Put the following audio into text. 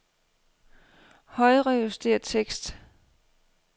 Højrejuster tekst.